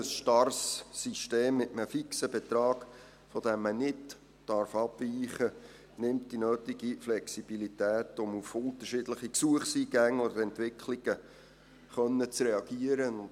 Ein starres System mit einem fixen Betrag, von dem man nicht abweichen darf, nimmt die nötige Flexibilität, um auf unterschiedliche Gesuchseingänge oder Entwicklungen reagieren zu können.